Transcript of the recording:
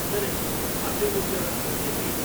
సరే, part time ఉద్యోగాల సంగతి ఏంటి?